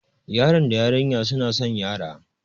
Yaron da yarinyar suna san yara.